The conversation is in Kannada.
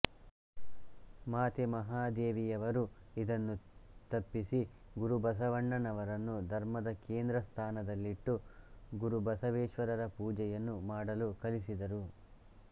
ಮಾತೆ ಮಹಾದೇವಿಯವರು ಇದನ್ನು ತಪ್ಪಿಸಿ ಗುರುಬಸವಣ್ಣನವರನ್ನು ಧರ್ಮದ ಕೇಂದ್ರ ಸ್ಥಾನದಲ್ಲಿಟ್ಟು ಗುರು ಬಸವೇಶ್ವರರ ಪೂಜೆಯನ್ನು ಮಾಡಲು ಕಲಿಸಿದರು